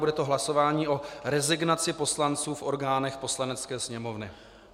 Bude to hlasování o rezignaci poslanců v orgánech Poslanecké sněmovny.